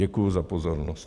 Děkuji za pozornost.